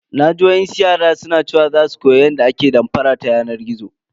Naji wasu yara na cewa za su fara koyan yadda ake damfara ta yanar gizo.